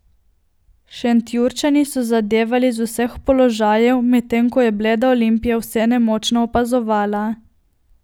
Šentjurčani so zadevali z vseh položajev, medtem ko je bleda Olimpija vse nemočno opazovala.